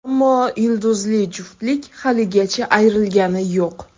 Ammo yulduzli juftlik haligacha ayrilgani yo‘q.